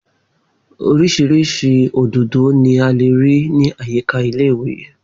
Orísirísi òdòdó ni a lè rí ní àyíká ilé ìwé